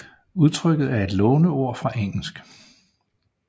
Udtrykket er et låneord fra engelsk